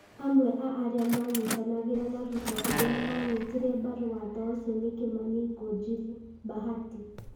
Amwe a arĩa mayitanagĩra na Ruto arĩa maanyitire mbaru watho ũcio nĩ Kĩmani Ngũnjiri (Bahati),